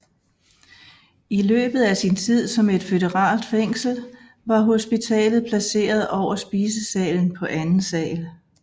I løbet af sin tid som et føderalt fængsel var hospitalet placeret over spisesalen på anden sal